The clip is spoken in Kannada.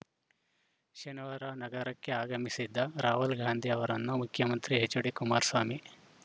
ಶನಿವಾರ ನಗರಕ್ಕೆ ಆಗಮಿಸಿದ್ದ ರಾಹುಲ್‌ ಗಾಂಧಿ ಅವರನ್ನು ಮುಖ್ಯಮಂತ್ರಿ ಎಚ್‌ಡಿ ಕುಮಾರಸ್ವಾಮಿ